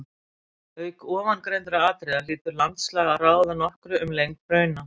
Auk ofangreindra atriða hlýtur landslag að ráða nokkru um lengd hrauna.